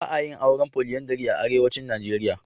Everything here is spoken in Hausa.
Ba a yin auren polyandry a arewacin Nijeriya.